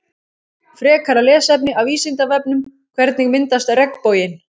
Frekara lesefni af Vísindavefnum Hvernig myndast regnboginn?